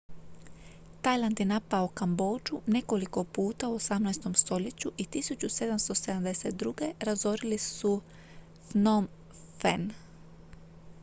tajland je napao kambodžu nekoliko puta u 18. stoljeću i 1772. razorili su phnom phen